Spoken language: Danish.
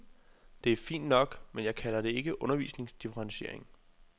Det er fint nok, men jeg kalder det ikke undervisningsdifferentiering.